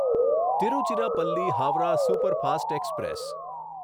Tiruchirappalli Howrah superfast express